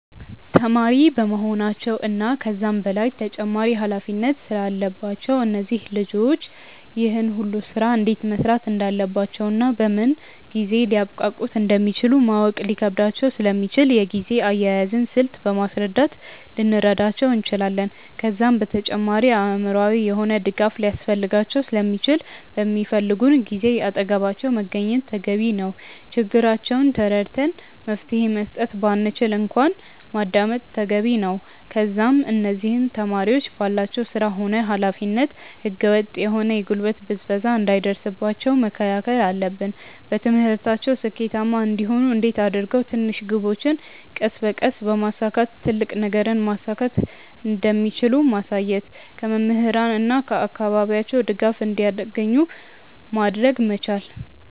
ተማሪ በመሆናቸው እና ከዛም በላይ ተጨማሪ ኃላፊነት ስላለባቸው እነዚህ ልጆች ይህን ሁሉ ስራ እንዴት መስራት እንዳለባቸውና በምን ጊዜ ሊያብቃቁት እንደሚችሉ ማወቅ ሊከብዳቸው ስለሚችል የጊዜ አያያዝን ስልት በማስረዳት ልንረዳቸው እንችላለን። ከዛም በተጨማሪ አእምሮአዊ የሆነ ድጋፍ ሊያስፈልጋቸው ስለሚችል በሚፈልጉን ጊዜ አጠገባቸው መገኘት ተገቢ ነው። ችግራቸውን ተረድተን መፍትሄ መስጠት ባንችል እንኳን ማዳመጥ ተገቢ ነው። ከዛም እነዚህ ተማሪዎች ባላቸው ስራ ሆነ ኃላፊነት ህገ ወጥ የሆነ የጉልበት ብዝበዛ እንዳይደርስባቸው መከላከል አለብን። በትምህርታቸው ስኬታማ እንዲሆኑ እንዴት አድርገው ትንሽ ግቦችን ቀስ በቀስ በማሳካት ትልቅ ነገርን ማሳካት እንደሚችሉ ማሳየት። ከመምህራን እና ከአካባቢያቸው ድጋፍ እንዲያገኙ ማድረግ መቻል።